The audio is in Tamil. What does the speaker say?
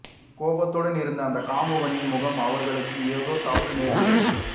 கோபத்துடன் இருந்த அந்த காமுகனின் முகமும் அவர்களுக்கு எதோ தவறு நேர்கிறது